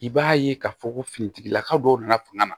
I b'a ye k'a fɔ ko fini tigilaka dɔw nana fanga na